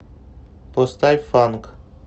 поставь фанк